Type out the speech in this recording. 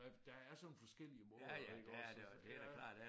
Der er der er sådan nogle forskellige måder iggås og ja